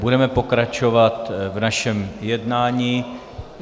Budeme pokračovat v našem jednání.